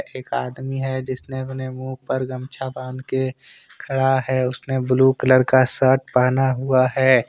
एक आदमी है जिसने अपने मुँह पर गमछा बांध के खड़ा है उसने ब्लू कलर का शर्ट पहना हुआ है।